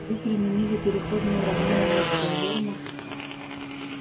вы применили переходное уравнение митчелла верно